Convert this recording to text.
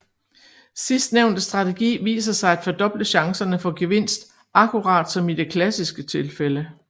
Sidstnævnte strategi viser sig at fordoble chancerne for gevinst akkurat som i det klassiske tilfælde